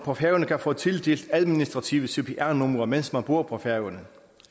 på færøerne kan få tildelt administrative cpr numre mens man bor på færøerne